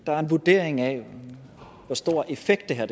der en vurdering af hvor stor effekt det her